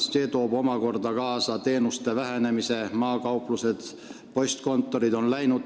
See kõik toob omakorda kaasa teenuste vähenemise, maakauplused ja -postkontorid on läinud.